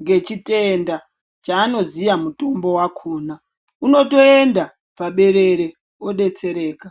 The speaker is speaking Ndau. ngechitenda chaanoziya mutombo vakona unotoenda paberere odetsereka.